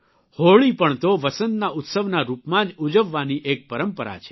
હોળી પણ તો વસંતના ઉત્સવના રૂપમાં જ ઉજવવાની એક પરંપરા છે